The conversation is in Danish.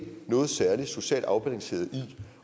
noget særligt socialt afbalanceret i det